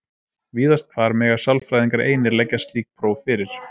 víðast hvar mega sálfræðingar einir leggja slík próf fyrir